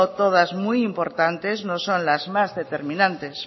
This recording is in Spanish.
todas muy importante no son las más determinantes